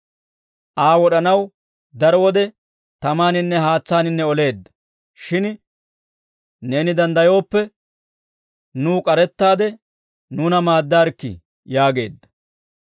Aa wod'anaw daro wode tamaaninne haatsaan oleedda; shin neeni danddayooppe, nuw k'arettaade nuuna maaddaarikkii» yaageedda.